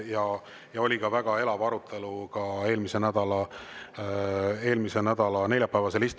Ja eelmise nädala neljapäevasel istungil oli ka väga elav arutelu.